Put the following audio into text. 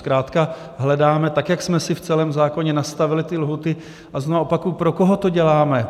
Zkrátka hledáme, tak jak jsme si v celém zákoně nastavili ty lhůty, a znovu opakuji, pro koho to děláme?